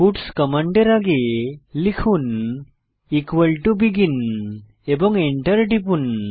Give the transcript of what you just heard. puts কমান্ডের আগে লিখুন বেগিন এবং এন্টার টিপুন